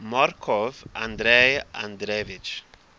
markov andrei andreevich